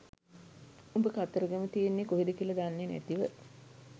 උඹ කතරගම තියෙන්නේ කොහෙද කියලා දන්නේ නැතිව